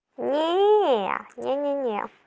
не не не не не не